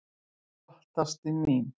"""Gott, ástin mín."""